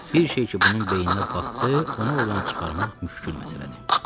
Bir şey ki, bunun beyninə batdı, onu ordan çıxarmaq müşkül məsələdir.